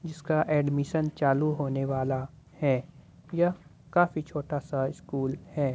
इसका एडमिशन चालू होने वाला है यह काफी छोटा सा स्कूल है।